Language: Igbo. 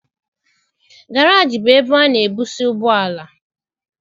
Garaajị bụ ebe ana ebuse ụgbọala.